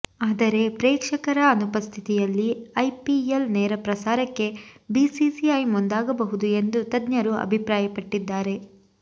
ಆದರೆ ಪ್ರೇಕ್ಷಕರ ಅನುಪಸ್ಛಿತಿಯಲ್ಲಿ ಐಪಿಎಲ್ ನೇರ ಪ್ರಸಾರಕ್ಕೆ ಬಿಸಿಸಿಐ ಮುಂದಾಗಬಹುದು ಎಂದು ತಜ್ಞರು ಅಭಿಪ್ರಾಯಪಟ್ಟಿದ್ದಾರೆ